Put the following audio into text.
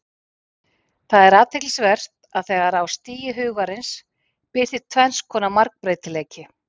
Það er athyglisvert að þegar á stigi Hugarins birtist tvenns konar margbreytileiki.